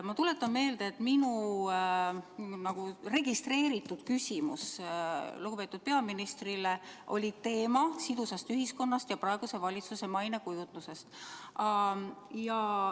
Ma tuletan meelde, et minu registreeritud küsimuse puhul, mille ma lugupeetud peaministrile esitasin, oli teemaks "Sidus ühiskond ja praeguse valitsuse mainekujundus".